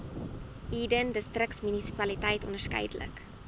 eden distriksmunisipaliteit onderskeidelik